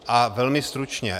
A velmi stručně.